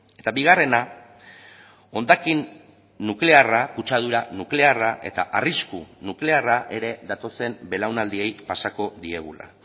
eta bigarrena hondakin nuklearra kutsadura nuklearra eta arrisku nuklearra ere datozen belaunaldiei pasako diegula